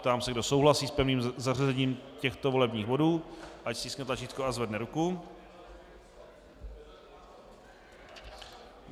Ptám se, kdo souhlasí s pevným zařazením těchto volebních bodů, ať stiskne tlačítko a zvedne ruku.